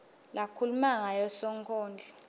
lakhuluma ngayo sonkondlo